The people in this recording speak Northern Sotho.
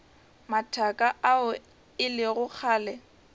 mathaka ao e lego kgale